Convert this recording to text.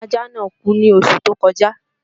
Ọmọ ajạ́ náà kú ní oṣù tó kọjạ́